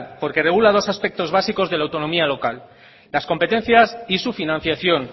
porque regula dos aspectos básicos de la autonomía local las competencias y su financiación